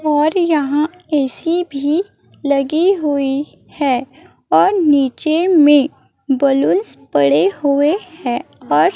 और यहां ए_सी भी लगी हुई है और नीचे में बलूंस पड़े हुए हैं और--